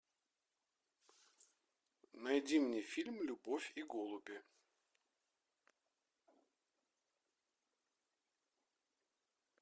найди мне фильм любовь и голуби